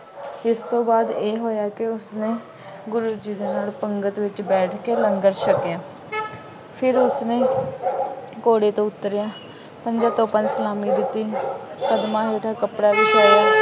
ਇਸ ਤੋਂ ਬਾਅਦ ਇਹ ਹੋਇਆ ਕਿ ਉਸਨੇ ਗੁਰੂ ਜੀ ਦੇ ਨਾਲ ਪੰਗਤ ਵਿੱਚ ਬੈਠ ਕੇ ਲੰਗਰ ਛਕਿਆ, ਫਿਰ ਉਸਨੇ ਘੋੜੇ ਤੋਂ ਉੱਤਰਿਆ, ਪੰਜਾਂ ਤੋਪਾਂ ਦੀ ਸਲਾਮੀ ਦਿੱਤੀ। ਕਦਮਾਂ ਹੇਠ ਕੱਪੜਾ ਵਿਛਾਇਆ।